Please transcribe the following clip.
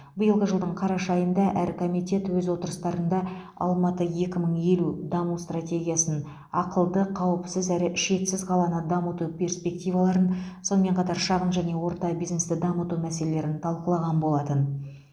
биылғы жылдың қараша айында әр комитет өз отырыстарында алматы екі мың елу даму стратегиясын ақылды қауіпсіз әрі шетсіз қаланы дамыту перспективаларын сонымен қатар шағын және орта бизнесті дамыту мәселелерін талқылаған болатын